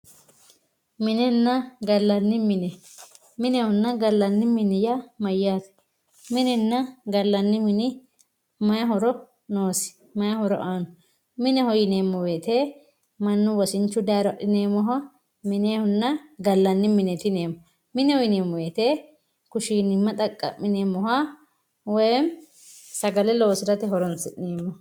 minenna gallanni mine minehonna gallanni mine yaa mayaate minenna gallanni mine mayi horo noosi mayi horo aanno mineho yineemo woyiite manna wosinchu dayiiro axxineemoha minenna gallanni mineet yineemo mineho yineemo woyiite kushiinimma xaqa'mineemoha woyeemi sagale loosirate horonsi'neemo.